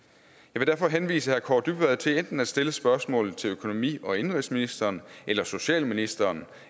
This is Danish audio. vil derfor henvise herre kaare dybvad til enten at stille spørgsmålet til økonomi og indenrigsministeren eller socialministeren